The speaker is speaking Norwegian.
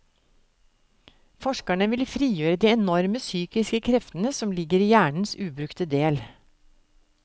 Forskerne vil frigjøre de enorme psykiske kreftene som ligger i hjernens ubrukte del.